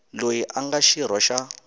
loyi a nga xirho xa